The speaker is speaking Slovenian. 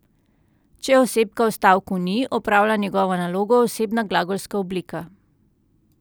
Če osebka v stavku ni, opravlja njegovo nalogo osebna glagolska oblika.